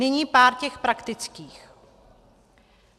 Nyní pár těch praktických.